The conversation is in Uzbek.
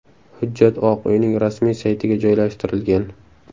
Hujjat Oq uyning rasmiy saytiga joylashtirilgan.